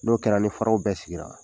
N'o kɛra ni faraw bɛɛ sigira